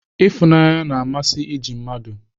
Ifunanye na-amasị iji ndị mmadụ.